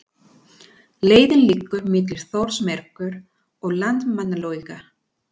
Leiðin liggur milli Þórsmerkur og Landmannalauga.